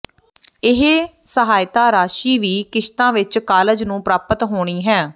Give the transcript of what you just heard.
ਇਹ ਸਹਾਇਤਾ ਰਾਸ਼ੀ ਵੀ ਕਿਸ਼ਤਾਂ ਵਿੱਚ ਕਾਲਜ ਨੂੰ ਪ੍ਰਾਪਤ ਹੋਣੀ ਹੈ